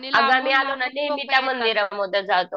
अगं आम्ही आलो ना